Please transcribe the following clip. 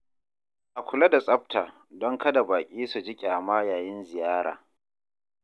A kula da tsafta don kada baƙi su ji ƙyama yayin ziyara.